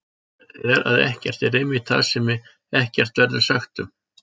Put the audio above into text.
Svarið er að ekkert er einmitt það sem ekkert verður sagt um!